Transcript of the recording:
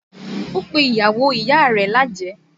Ó pe ìyàwó ìyá rẹ̀ lájẹ̀ẹ́